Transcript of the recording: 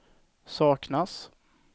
saknas